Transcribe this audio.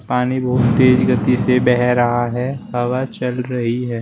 पानी बहुत तेज गति से बह रहा है हवा चल रही है।